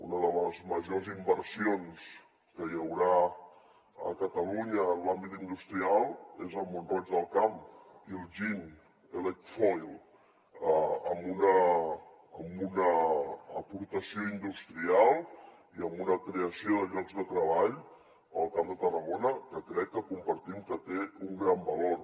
una de les majors inversions que hi haurà a catalunya en l’àmbit industrial és a mont roig del camp iljin elecfoil amb una aportació industrial i amb una creació de llocs de treball pel camp de tarragona que crec que compartim que té un gran valor